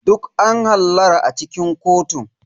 Duk an hallara a cikin kotun.